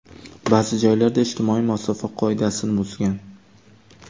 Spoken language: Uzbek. Ba’zi joylarda ijtimoiy masofa qoidasini buzgan.